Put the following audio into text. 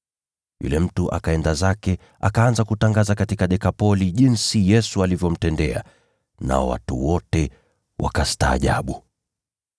Yule mtu akaenda zake, akaanza kutangaza katika Dekapoli mambo makuu Yesu aliyomtendea. Nao watu wote wakastaajabu.